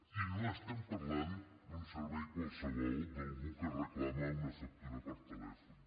i no estem parlant d’un servei qualsevol d’algú que reclama una factura per telèfon